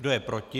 Kdo je proti?